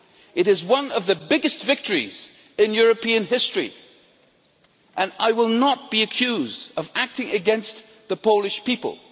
It is one of the biggest victories in European history, and I will not be accused of acting against the Polish people.